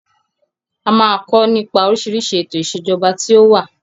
A máa kọ nípa oríṣiríṣi ètò ìsèjọba tí ó wà.